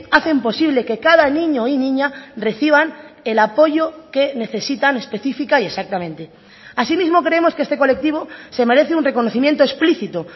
hacen posible que cada niño y niña reciban el apoyo que necesitan específica y exactamente así mismo creemos que este colectivo se merece un reconocimiento explícito